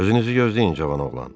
Özünüzü gözləyin cavan oğlan.